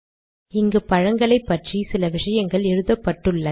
இங்கு பழங்களைப்பற்றி சில விஷயங்கள் எழுதப்பட்டுள்ளது